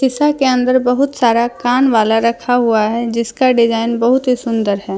शीशा के अंदर बहुत सारा कान वाला रखा हुआ है जिसका डिजाइन बहुत ही सुंदर है।